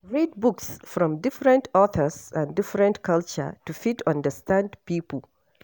Read books from different authors and different culture to fit understand pipo